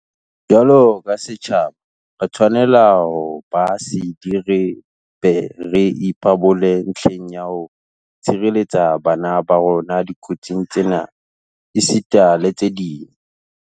Jwalo ka setjhaba, re tshwanela ho ba sedi re be re ipabole ntlheng ya ho tshireletsa bana ba rona dikotsing tsena esita le tse ding.